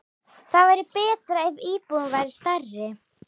Það væri betra ef íbúðin væri stærri.